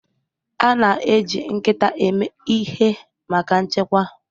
A na-eji nkịta eme ihe maka nchekwa.